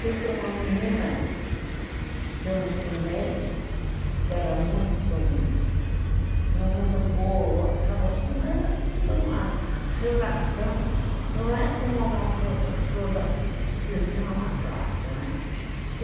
Tive uma menina que eu ensinei, que era muito boa, mas fica uma relação... Não é como uma professora que te ensina uma classe, né?